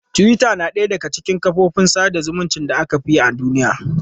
Twitter yana ɗaya daga cikin kafofin sada zumunci da aka fi amfani da su a cikin duniya.